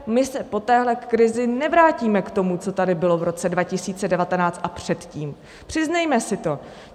My se po téhle krizi nevrátíme k tomu, co tady bylo v roce 2019 a předtím, přiznejme si to.